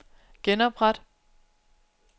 genopret